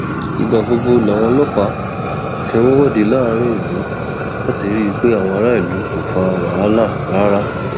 ìgbà gbogbo làwọn ọlọpàá fi ń wọde láàrin ìlú láti rí i pé àwọn aráàlú kò fa wàhálà rárá